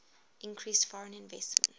increased foreign investment